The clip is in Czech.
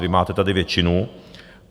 Vy máte tady většinu.